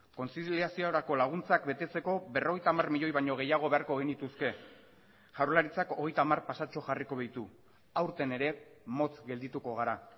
kontziliaziorako laguntzak betetzeko berrogeita hamar milioi baino gehiago beharko genituzke jaurlaritzak hogeita hamar pasatxo jarriko ditu aurten ere motz geldituko gara